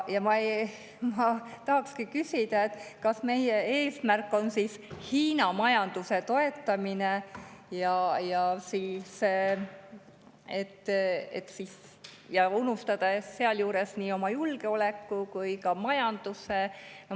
Ja ma tahakski küsida, kas meie eesmärk on Hiina majanduse toetamine, unustades sealjuures nii oma julgeoleku kui ka majanduse.